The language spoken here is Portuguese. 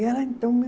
E ela então me